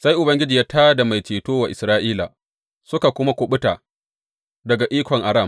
Sai Ubangiji ya tā da mai ceto wa Isra’ila, suka kuma kuɓuta daga ikon Aram.